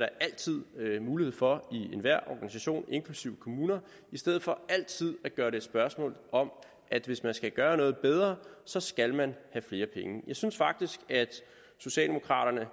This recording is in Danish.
der altid mulighed for i enhver organisation inklusive kommuner i stedet for altid at gøre det til et spørgsmål om at hvis man skal gøre noget bedre så skal man have flere penge jeg synes faktisk at socialdemokraterne